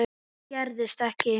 Það gerðist ekki.